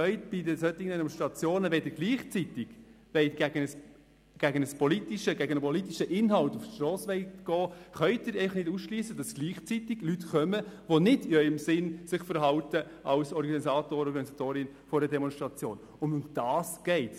Wenn Sie gegen einen politischen Inhalt auf die Strasse gehen wollen, können Sie nicht ausschliessen, dass gleichzeitig Leute kommen, die sich nicht im Sinn der Organisatorinnen und Organisatoren einer Demonstration verhalten, und darum geht es.